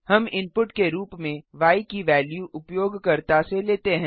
हम इनपुट के रूप में य की वेल्यू उपयोगकर्ता से लेते हैं